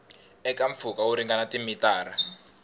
eka mpfhuka wo ringana timitara